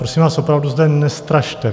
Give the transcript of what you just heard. Prosím vás, opravdu zde nestrašte.